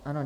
Ano.